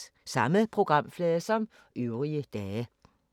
Samme programflade som øvrige dage